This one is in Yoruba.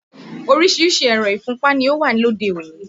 Oríṣiríṣi ẹ̀rọ̀ ìfúnpá ni ó wà lóde òní